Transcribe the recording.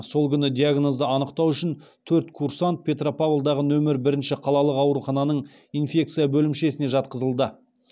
сол күні диагнозды анықтау үшін төрт курсант петропавлдағы нөмірі бірінші қалалық аурухананың инфекция бөлімшесіне жатқызылды